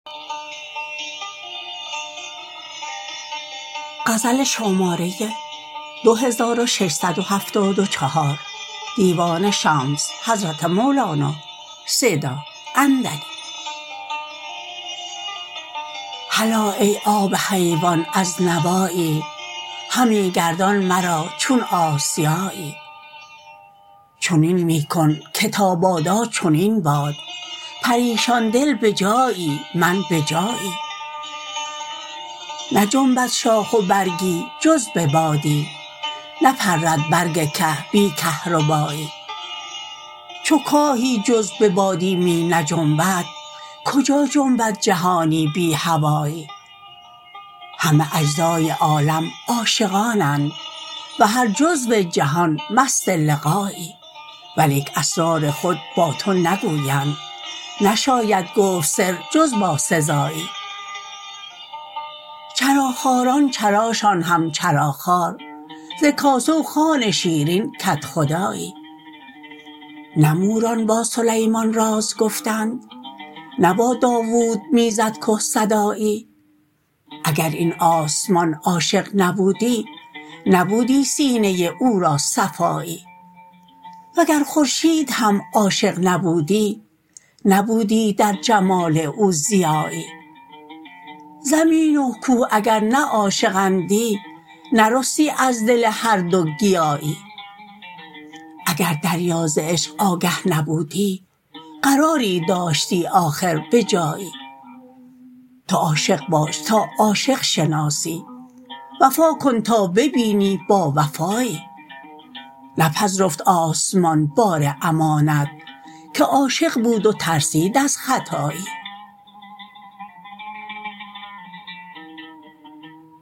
هلا ای آب حیوان از نوایی همی گردان مرا چون آسیایی چنین می کن که تا بادا چنین باد پریشان دل به جایی من به جایی نجنبد شاخ و برگی جز به بادی نپرد برگ که بی کهربایی چو کاهی جز به بادی می نجنبد کجا جنبد جهانی بی هوایی همه اجزای عالم عاشقانند و هر جزو جهان مست لقایی ولیک اسرار خود با تو نگویند نشاید گفت سر جز با سزایی چراخواران چراشان هم چراخوار ز کاسه و خوان شیرین کدخدایی نه موران با سلیمان راز گفتند نه با داوود می زد که صدایی اگر این آسمان عاشق نبودی نبودی سینه او را صفایی وگر خورشید هم عاشق نبودی نبودی در جمال او ضیایی زمین و کوه اگر نه عاشق اندی نرستی از دل هر دو گیاهی اگر دریا ز عشق آگه نبودی قراری داشتی آخر به جایی تو عاشق باش تا عاشق شناسی وفا کن تا ببینی باوفایی نپذرفت آسمان بار امانت که عاشق بود و ترسید از خطایی